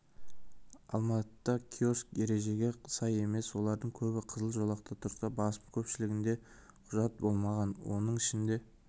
алматыда киоск ережеге сай емес олардың көбі қызыл жолақта тұрса басым көпшілігінде құжат болмаған оның ішінде